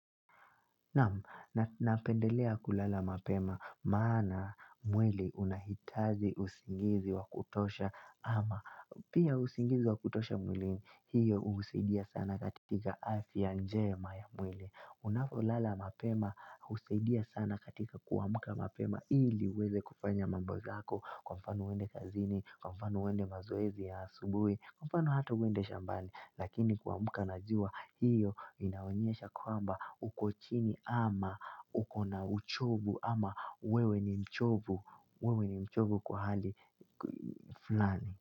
Napendelea kulala mapema maana mwili unahitaji usingizi wa kutosha ama pia usingizi wa kutosha mwili hiyo husaidia sana katika afya njema ya mwili. Unapolala mapema husaidia sana katika kuamka mapema ili uweze kufanya mambo zako kwa mfano uende kazini, kwa mfano uende mazoezi ya asubuhi, kwa mfano hata uende shambani Lakini kuamka na jua hiyo inaonyesha kwamba uko chini ama ukona uchovu ama ama wewe ni mchovu wewe ni mchovu kwa hali fulani.